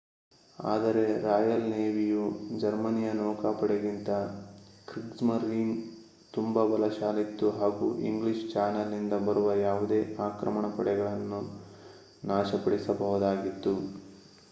ಆದರೆ ರಾಯಲ್ ನೇವಿಯು ಜರ್ಮನಿಯ ನೌಕಾಪಡೆಗಿಂತ ಕ್ರಿಗ್ಸ್ಮರೀನ್ ತುಂಬಾ ಬಲಶಾಲಿಯಾಗಿತ್ತು ಹಾಗೂ ಇಂಗ್ಲಿಷ್ ಚಾನೆಲ್ ನಿಂದ ಬರುವ ಯಾವುದೇ ಆಕ್ರಮಣ ಪಡೆಗಳನ್ನು ನಾಶಪಡಿಸಬಹುದಾಗಿತ್ತು